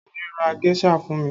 Bàbá mi ra géṣà fún mi